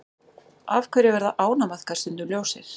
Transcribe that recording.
Af hverju verða ánamaðkar stundum ljósir?